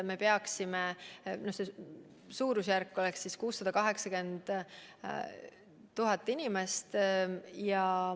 Millal me selle suudame saavutada?